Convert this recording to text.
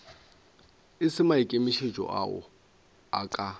e se maikemišetšo a ka